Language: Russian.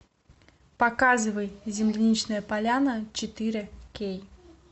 показывай земляничная поляна четыре кей